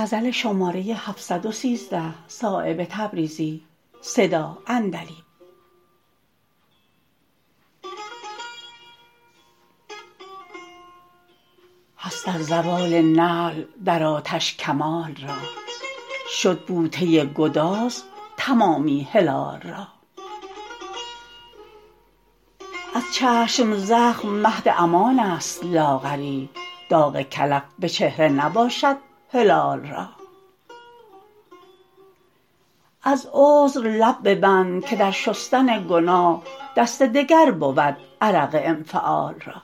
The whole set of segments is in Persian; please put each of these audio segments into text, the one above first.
هست از زوال نعل در آتش کمال را شد بوته گداز تمامی هلال را از چشم زخم مهد امان است لاغری داغ کلف به چهره نباشد هلال را از عذر لب ببند که در شستن گناه دست دگر بود عرق انفعال را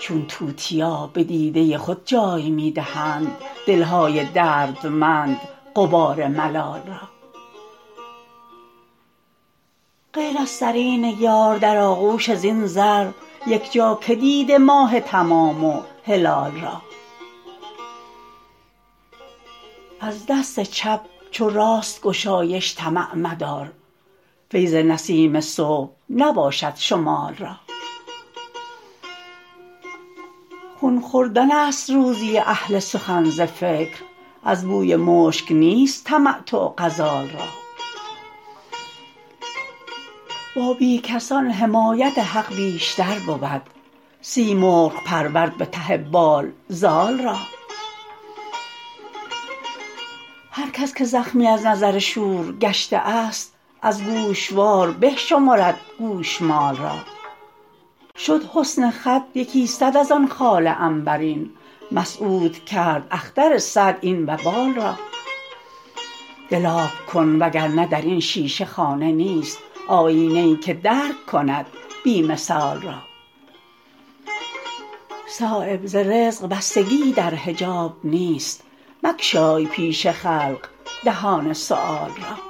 چون توتیا به دیده خود جای می دهند دلهای دردمند غبار ملال را غیر از سرین یار در آغوش زین زر یکجا که دیده ماه تمام و هلال را از دست چپ چو راست گشایش طمع مدار فیض نسیم صبح نباشد شمال را خون خوردن است روزی اهل سخن ز فکر از بوی مشک نیست تمتع غزال را با بیکسان حمایت حق بیشتر بود سیمرغ پرورد به ته بال زال را هر کس که زخمی از نظر شور گشته است از گوشوار به شمرد گوشمال را شد حسن خط یکی صد ازان خال عنبرین مسعود کرد اختر سعد این وبال را دل آب کن وگرنه درین شیشه خانه نیست آیینه ای که درک کند بی مثال را صایب ز رزق بستگیی در حجاب نیست مگشای پیش خلق دهان سؤال را